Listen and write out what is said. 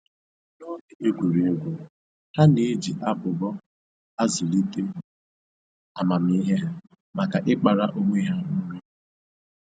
N'oge egwuregwu, ha na-eji abụbọ a zụlite amamihe ha maka ịkpara onwe ha nri